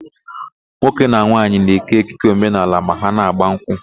Nwoke na nwaanyị na-ékè ekike omenaala ma ha na-ágbà nkwụ.